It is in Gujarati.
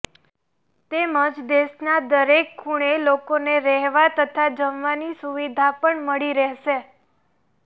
તેમજ દેશના દરેક ખુણે લોકોને રહેવા તથા જમવાની સુવિધા પણ મળી રહેશે